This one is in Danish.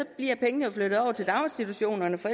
bliver pengene flyttet over til daginstitutionerne for